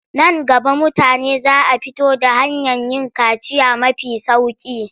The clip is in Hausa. Nan gaba mutane za a fito da hanyar yin kaciya mafi sauƙi.